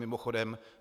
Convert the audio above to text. Mimochodem -